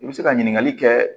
I bɛ se ka ɲininkali kɛ